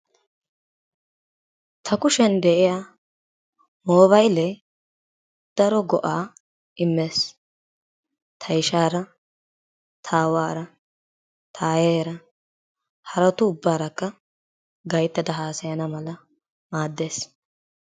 Ta kushiyan de'iya moobaayilee daro go'aa immees. Ta ishaara, ta aawaara, ta aayeeraa haratu ubbaarakka gayttada haasayana mala maaddees.